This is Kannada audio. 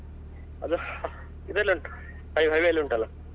ಅದು ಇದ್ರಲ್ಲಿ ಉಂಟು ಅಲ್ಲೇ highway ಅಲ್ಲಿ ಉಂಟಲ್ಲಾ.